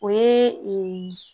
O ye ee